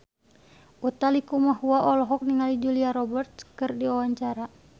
Utha Likumahua olohok ningali Julia Robert keur diwawancara